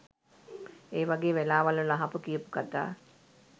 ඒවගේ වෙලාවල් වල අහපු කියපු කතා